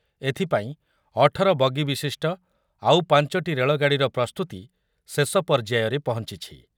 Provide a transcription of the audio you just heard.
ଏଥିପାଇଁ ଅଠର ବଗି ବିଶିଷ୍ଟ ଆଉ ପାଞ୍ଚଟି ରେଳଗାଡ଼ିର ପ୍ରସ୍ତୁତି ଶେଷ ପର୍ଯ୍ୟାୟରେ ପହଞ୍ଚିଛି ।